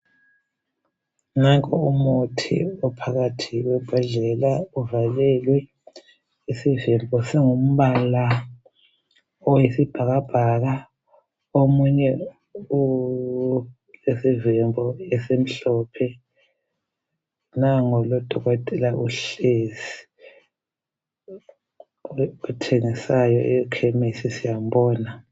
Nanko umuthi ophakathi kwembodlela uvalelwe isivimbo singumbala owesibhakabhaka omunye ulesivimbo esimhlophe nangu lodokotela uhlezi lothengisayo ekhemisi siyambona.